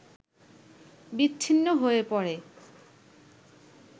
বিচ্ছিন্ন হয়ে পড়ে